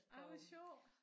Ej hvor sjovt